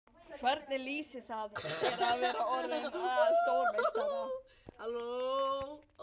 Hvernig lýsir það sér að vera orðinn að stórmeistara?